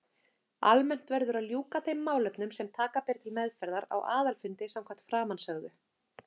Almennt verður að ljúka þeim málefnum sem taka ber til meðferðar á aðalfundi samkvæmt framansögðu.